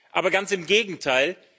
Aber ganz im Gegenteil!